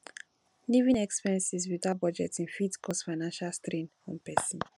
living expenses without budgeting fit cause financial strain on person